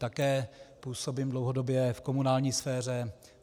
Také působím dlouhodobě v komunální sféře.